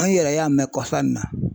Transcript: An yɛrɛ y'a mɛn kɔsan nin na